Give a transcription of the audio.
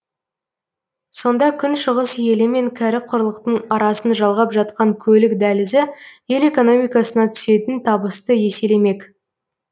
сонда күншығыс елі мен кәрі құрлықтың арасын жалғап жатқан көлік дәлізі ел экономикасына түсетін табысты еселемек